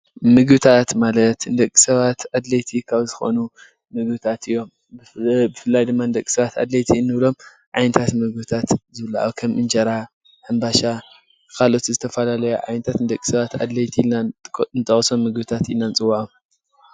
ምግብታት ማለት ንደቂ ሰባት ኣድላይቲ ካብ ዝኮኑ ምግብታት እዮም፡፡ ብፍላይ ድማ ንደቂ ሰባት ኣድላይቲ ካብ እንብሎም ዓይነታት ምግብታት ዝብልዑ ከም እንጀራ፣ ሕምባሻ ካልኦት ዝተፈላለዩ ዓይነታት ንደቂ ሰባት ኣድላይቲ ምግብታት ኢልና ንጠቅሶም እንፅወዖም፡፡